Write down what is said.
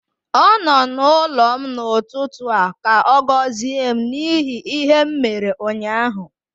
Ọ nọ n'ụlọ m n'ụtụtụ a ka ọ gọzie m n'ihi ihe m mere ụnyaahụ